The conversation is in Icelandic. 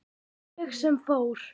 Ég sem fór.